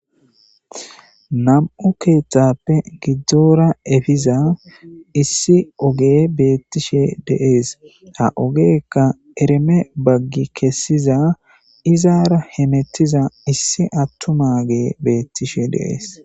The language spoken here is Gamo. nam7u keeththappe giddora efiza issi oge beettishe dees ha ogeekka ereme baggi kessiza izaara hemettiza issi attuma ge beettishe deees